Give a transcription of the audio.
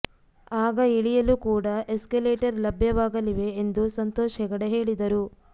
ಆಗ ಇಳಿಯಲು ಕೂಡ ಎಸ್ಕಲೇಟರ್ ಲಭ್ಯವಾಗಲಿವೆ ಎಂದು ಸಂತೋಷ್ ಹೆಗಡೆ ಹೇಳಿದರು